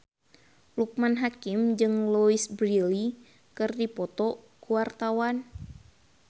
Loekman Hakim jeung Louise Brealey keur dipoto ku wartawan